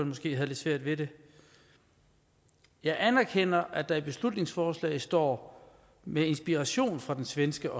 måske havde lidt svært ved det jeg anerkender at der i beslutningsforslaget står med inspiration fra den svenske